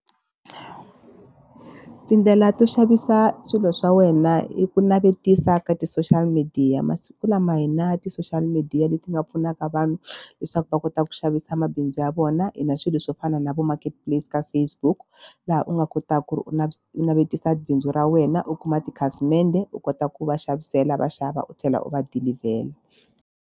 Tindlela to xavisa swilo swa wena i ku navetisa ka ti-social media masiku lama hina ti-social media leti nga pfunaka vanhu leswaku va kota ku xavisa mabindzu ya vona. Hi na swilo swo fana na vo marketplace ka Facebook laha u nga kotaka ku ri u u navetisa bindzu ra wena u kuma tikhasimende u kota ku va xavisela vaxava u tlhela u va dilivhela.